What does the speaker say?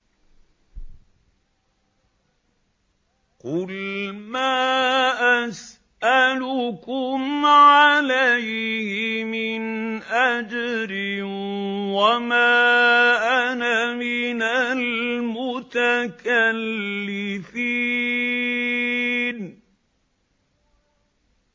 قُلْ مَا أَسْأَلُكُمْ عَلَيْهِ مِنْ أَجْرٍ وَمَا أَنَا مِنَ الْمُتَكَلِّفِينَ